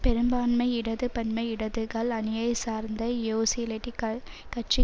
பெரும்பான்மை இடது பன்மை இடதுகள் அணியை சார்ந்த யோசிளிட்டுகள் கட்சி